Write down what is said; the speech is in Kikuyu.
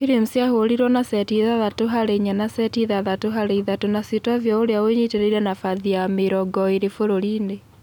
Williams ahũrĩtwo na seti ithathatũ harĩ inya na seti ithathatũ harĩ ithatũ na Sitovia ũria ũnyitereire nabathi ya mĩrongo ĩrĩ bũrũri-inĩ.